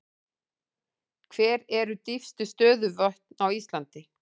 Hver eru dýpstu stöðuvötn á Íslandi?